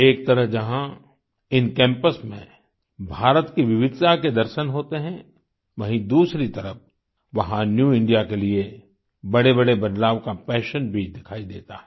एक तरफ़ जहाँ इन कैम्पस में भारत की विविधता के दर्शन होते हैं वहीँ दूसरी तरफ़ वहाँ न्यू इंडिया के लिए बड़ेबड़े बदलाव का पैशन भी दिखाई देता है